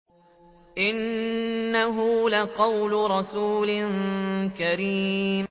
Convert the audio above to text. إِنَّهُ لَقَوْلُ رَسُولٍ كَرِيمٍ